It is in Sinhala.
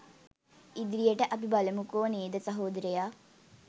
ඉදිරියට අපි බලමුකෝ නේද සහෝදරයා